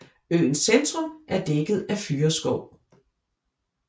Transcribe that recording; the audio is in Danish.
Øens centrum er dækket af fyrreskov